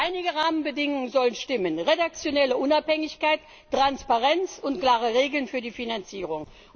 Aber einige Rahmenbedingungen sollen stimmen redaktionelle Unabhängigkeit, Transparenz und klare Regeln für die Finanzierung.